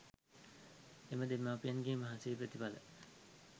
එම දෙමාපියන්ගේ මහන්සියේ ප්‍රතිඵල